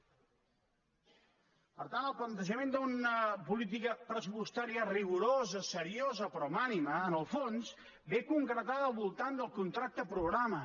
per tant el plantejament d’una política pressupostària rigorosa seriosa però amb ànima en el fons ve concretada al voltant del contracte programa